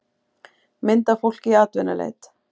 mynd af fólki í atvinnuleit